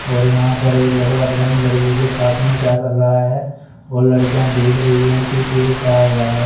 और यहां पर एक लड़का पता नहीं लड़की के साथ में क्या कर रहा है और लड़कियां देख रही है कि कि ये क्या हो रहा है।